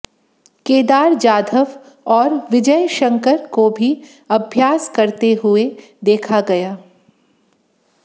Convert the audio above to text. केदार जाधव और विजय शंकर को भी अभ्यास करते हुए देखा गया